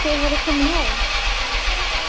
Það er að byrja.